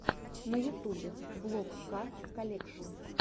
на ютубе влог ка колекшн